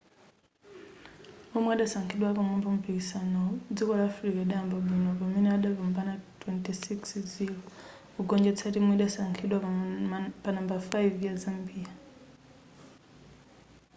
womwe adasankhidwa apamwamba mumpikisanowu dziko la south africa lidayamba bwino pamene adapambana 26-00 kugonjetsa timu idasankhidwa panambala 5 ya zambia